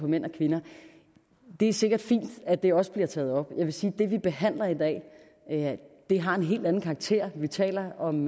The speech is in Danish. mænd og kvinder det er sikkert fint at det også bliver taget op men jeg vil sige at det vi behandler i dag har en helt anden karakter vi taler om